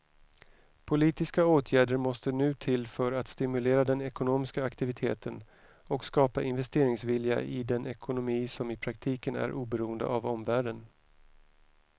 Politiska åtgärder måste nu till för att stimulera den ekonomiska aktiviteten och skapa investeringsvilja i den ekonomi som i praktiken är oberoende av omvärlden.